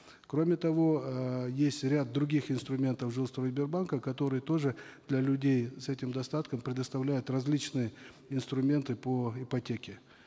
кроме того эээ есть ряд других инструментов жилстройсбербанка который тоже для людей с этим достатком предоставляет различные инструменты по ипотеке